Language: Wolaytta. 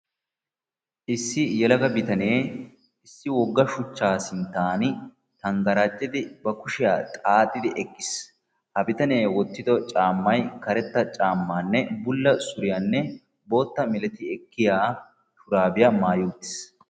issi yelaga bittane issi wogga shuchcha sinttani bari gediya tangaccidi eqidi uttissi ha bittanekka maayido maayoy bulla suriyanne booxxana ekkiya shamiziyakka maayidi uttissi.